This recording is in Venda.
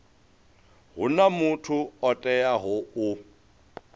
huna muthu o teaho u